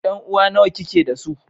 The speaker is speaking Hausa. Yanuwa nawa kike da su?